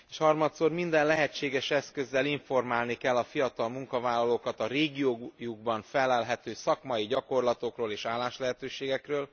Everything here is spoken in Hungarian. Harmadszor minden lehetséges eszközzel informálni kell a fiatal munkavállalókat a régiójukban fellelhető szakmai gyakorlatokról és álláslehetőségekről.